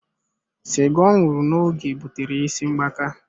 Cigar oṅụru na oge butere ya isi mgbaka.